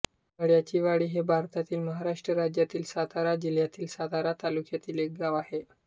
मळ्याचीवाडी हे भारतातील महाराष्ट्र राज्यातील सातारा जिल्ह्यातील सातारा तालुक्यातील एक गाव आहे